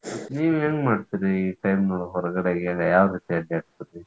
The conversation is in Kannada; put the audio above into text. ನೀವೇನ್ ಮಾಡ್ತೀರಿ ಈ time ಹೊರಗಡೆ ಏನ್ ಯಾವ ರೀತಿ ಅಡ್ಯಾಡ್ತಿರಿ?